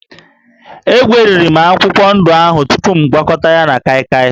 Egweriri m akwụkwọ ndụ ahụ tupu m gwakọta ya na kaịkaị